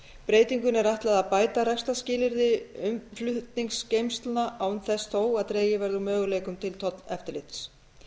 breytingunni er ætlað að bæta rekstrarskilyrði umflutningsgeymslna án þess þó að dregið verði úr möguleikum til tolleftirlits